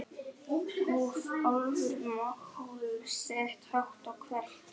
hóf Álfur mál sitt hátt og hvellt.